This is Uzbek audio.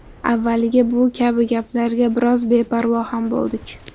Avvaliga bu kabi gaplarga biroz beparvo ham bo‘ldik.